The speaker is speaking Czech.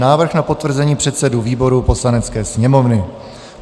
Návrh na potvrzení předsedů výborů Poslanecké sněmovny